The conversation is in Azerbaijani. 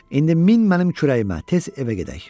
İndi min mənim kürəyimə, tez evə gedək!